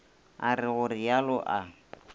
a re go realo a